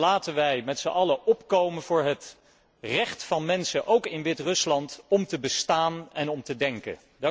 Laten wij met z'n allen opkomen voor het recht van mensen, ook in Wit Rusland, om te bestaan en om te denken.